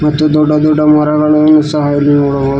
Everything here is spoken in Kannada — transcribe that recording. ಮತ್ತು ದೊಡ್ಡ ದೊಡ್ಡ ಮರಗಳನ್ನು ಸಹ ಇಲ್ಲಿ ನೋಡಬಹುದು.